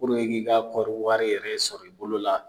Puruke i k'i ka kɔɔri wari yɛrɛ sɔrɔ i bolo la